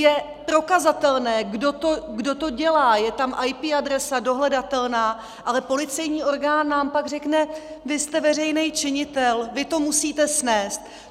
Je prokazatelné, kdo to dělá, je tam IP adresa, dohledatelná, ale policejní orgán nám pak řekne: Vy jste veřejný činitel, vy to musíte snést.